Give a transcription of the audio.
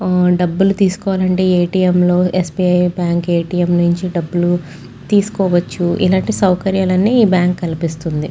ఆ డబ్బులు తీసుకోవాలంటే ఎ. టి. ఎం. లో S. B. I. Bank A. T. M. నుంచి డబ్బులు తీసుకోవచ్చు ఇలాంటి సౌకర్యాలన్ని ఈ బ్యాంక్ కల్పిస్తుంది.